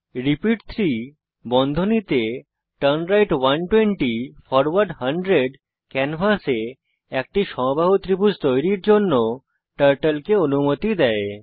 repeat 3turnright 120 forward 100 ক্যানভাসে একটি সমবাহু ত্রিভুজ তৈরীর জন্য টার্টল কে অনুমতি দেয়